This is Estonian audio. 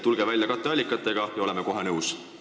Tulge välja mõistlike katteallikatega, ja oleme kohe nõus!